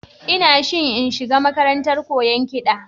Ina shi in shiga makarantar koyan kiɗa